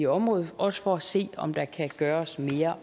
området også for at se om der kan gøres mere